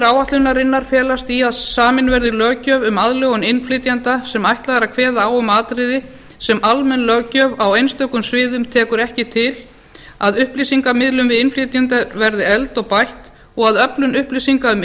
áætlunarinnar felast í að samin verði löggjöf um aðlögun innflytjenda sem ætlað er að kveða á um atriði sem almenn löggjöf á einstökum sviðum tekur ekki til að upplýsingamiðlun til innflytjenda verði efld og bætt og að öflun upplýsinga um